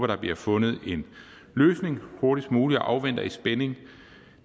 der bliver fundet en løsning hurtigst muligt og afventer i spænding